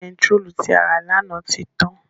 Bẹntiróòlù tí a rà lánàá ti tán.